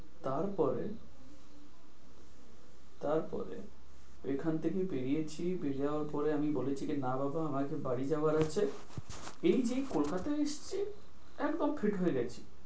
তারপরে, তারপরে, এখান থেকে বেরিয়েছি, বেরিয়ে যাবার পরে আমি বলেছি কি না বাবা আমার আজকে বাড়ি যাবার আছে। এই যেই কলকাতায় এসছি একদম feat হয়ে গেছি।